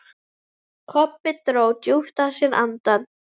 Kobbi dró djúpt að sér andann.